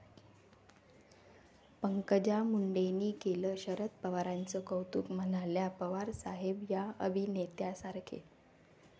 पंकजा मुंडेंनी केलं शरद पवारांचं कौतुक, म्हणाल्या पवारसाहेब 'या' अभिनेत्यासारखे